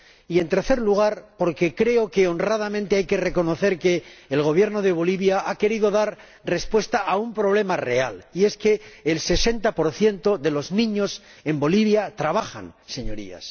Y, en tercer lugar, porque creo que, honradamente, hay que reconocer que el Gobierno de Bolivia ha querido dar respuesta a un problema real y es que el 60 de los niños en Bolivia trabajan, Señorías.